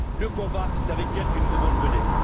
Le combat, c'est avec elles que nous devons le mener.